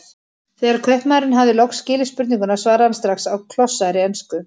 Þegar kaupmaðurinn hafði loks skilið spurninguna svaraði hann strax á klossaðri ensku